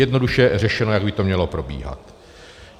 Jednoduše řešeno, jak by to mělo probíhat.